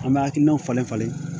An bɛ hakilinaw falen falen